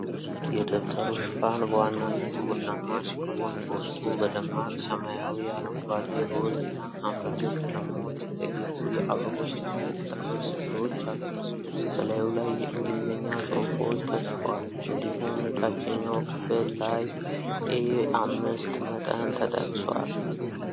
የደብተሩ ሽፋን በዋናነት ቡናማ ሲሆን በውስጡ በደማቅ ሰማያዊ፣ አረንጓዴ፣ ሮዝ እና ሐምራዊ ቀለሞች የተጌጡ የአበቦች እና የቅጠሎች ሥዕሎች አሉ። በላዩ ላይ የንግሊዝኛ ጽሁፎች ተጽፈዋል። እንዲሁም የታችኛው ክፍል ላይ ኤ5 መጠን ተጠቅሷል።